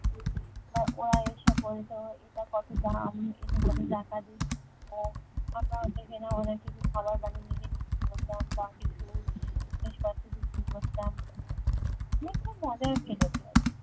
ওরা ওরা এসে বলতো এটার কত দাম এটা কত টাকা দিয়ে কিনবো আমরা অনেক কিছু খাবার বানিয়ে নিজে নিয়ে যেতাম বা কিছু জিনিসপত্র বিক্রি করতাম মানে খুব মজার ছিল সে এক